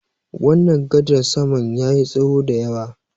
wannan gadar saman ya yi tsaho da yawa